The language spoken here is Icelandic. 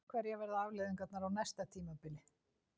Hverjar verða afleiðingarnar á næsta tímabili?